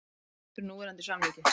Hlynntur núverandi samningi